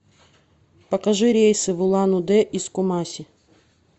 покажи рейсы в улан удэ из кумаси